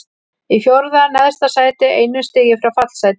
Í fjórða neðsta sæti, einu stigi frá fallsæti.